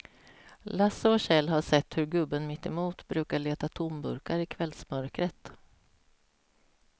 Lasse och Kjell har sett hur gubben mittemot brukar leta tomburkar i kvällsmörkret.